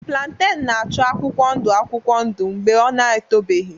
Plantain na-acha akwụkwọ ndụ akwụkwọ ndụ mgbe ọ na-etobeghị.